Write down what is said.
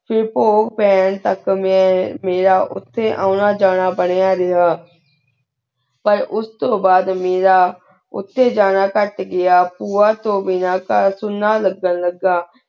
ਫੇਰ ਪੁਖ਼ ਪੈਣ ਤਕ ਮੇਰਾ ਉਠੀ ਉਨਾ ਜਾਣਾ ਬੇਰੀਆਂ ਰਿਹਾ ਪਰ ਉਸ ਤੂੰ ਬਾਦ ਮੇਰਾ ਉਠੀ ਜਾਣਾ ਘਟ ਗੇਯ ਪੁਯਾ ਤੂੰ ਬੇਘਰ ਘਰ ਸੁਨਾ ਸੁਨਾ ਲ੍ਘਾਂ ਲਘਾ